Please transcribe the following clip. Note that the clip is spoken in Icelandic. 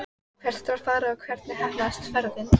Hvert var farið og hvernig heppnaðist ferðin?